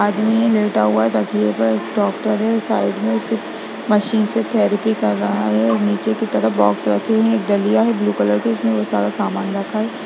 आदमी लेटा हुआ है तकिये पर डाक्टर है साइड में उसके मशीन से थेरपी कर रहा है नीचे के तरफ बॉक्स रखे हैं एक डलिया है ब्लू कलर का उसमें सारा सामान रखा है।